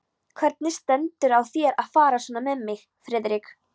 Hvernig stendur á þér að fara svona með mig, Friðrik?